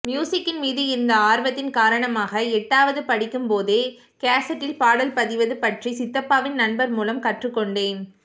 மியுசிக்கின் மீது இருந்த ஆர்வத்தின் காரணமாக எட்டாவது படிக்கும்போதே கேசட்டில் பாடல் பதிவது பற்றி சித்தாப்பாவின் நண்பர் மூலம் கற்றுகொண்டேன்